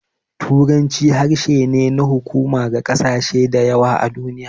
Turanci harshe ne na hukuma ga ƙasashe da yawa a duniya.